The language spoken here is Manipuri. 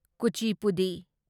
ꯀꯨꯆꯤꯄꯨꯗꯤ